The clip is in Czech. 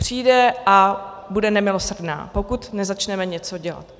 Přijde a bude nemilosrdná, pokud nezačneme něco dělat.